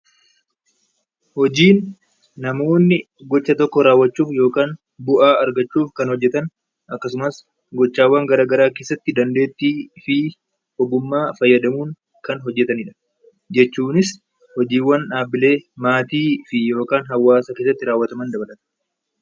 Hojiin namoonni gocha tokko raawwachuuf yookaan bu'aa argachuuf kan hojjetan akkasumas gochaawwan garaagaraa keessatti dandeettii fi ogummaa fayyadamuun Kan hojjetanidha, jechuunis hojiiwwan dhaabilee, maatii fi yookaan hawaasa keessatti raawwataman dabalata.